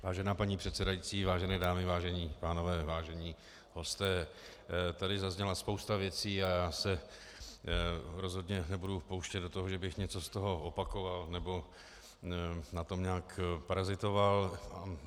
Vážená paní předsedající, vážené dámy, vážení pánové, vážení hosté, tady zazněla spousta věcí a já se rozhodně nebudu pouštět do toho, že bych něco z toho opakoval nebo na tom nějak parazitoval.